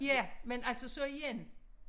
Ja men altså så igen